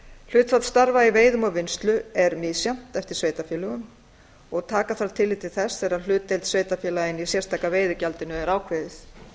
hlutfall starfa í veiðum og vinnslu er misjafnt eftir sveitarfélögum og taka þarf tillit til þess þegar hlutdeild sveitarfélaganna í sérstaka veiðigjaldinu er ákveðið